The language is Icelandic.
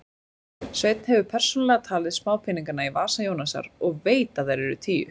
Sveinn hefur persónulega talið smápeningana í vasa Jónasar og veit að þeir eru tíu.